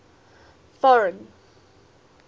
foreign